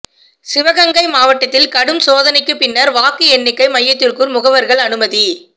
சிவகங்கை மாவட்டத்தில் கடும் சோதனைக்கு பின்னா் வாக்கு எண்ணிக்கை மையத்துக்குள் முகவா்கள் அனுமதி